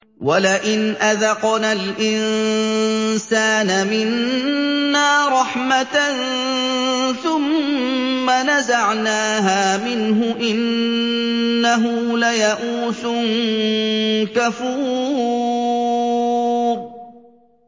وَلَئِنْ أَذَقْنَا الْإِنسَانَ مِنَّا رَحْمَةً ثُمَّ نَزَعْنَاهَا مِنْهُ إِنَّهُ لَيَئُوسٌ كَفُورٌ